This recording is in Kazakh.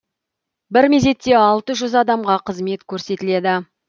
бір мезетте алты жүз адамға қызмет көрсетіледі